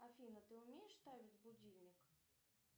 афина ты умеешь ставить будильник